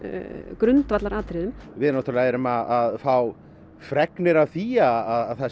grundvallaratriðum við náttúrulega erum að fá fregnir af því að